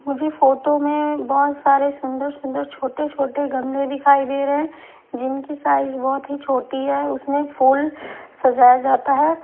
मुझे फोटो में बहुत सारे सुंदर सुंदर छोटे छोटे गमले दिखाई दे रहे हैं जिनकी साइज बहुत ही छोटी है उसमें फूल सजाया जाता है।